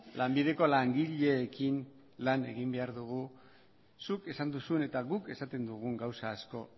lanbideko langileekin lan egin behar dugu zuk esan duzun eta guk esaten dugun gauza asko